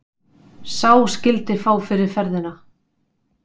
Sá skyldi fá fyrir ferðina.